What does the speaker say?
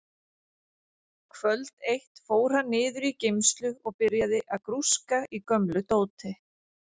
Kvöld eitt fór hann niður í geymslu og byrjaði að grúska í gömlu dóti.